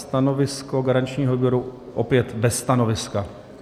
Stanovisko garančního výboru: opět bez stanoviska.